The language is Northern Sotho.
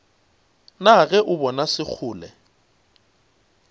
na ge o bona sekgole